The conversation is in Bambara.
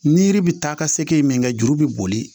Ni yiri bɛ taa ka se min kɛ juru bɛ boli